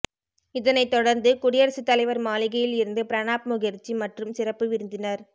இதனைத் தொடர்ந்து குடியரசுத் தலைவர் மாளிகையில் இருந்து பிரணாப் முகர்ஜி மற்றும் சிறப்பு விருந்தினர்